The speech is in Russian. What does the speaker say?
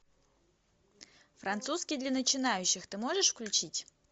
французский для начинающих ты можешь включить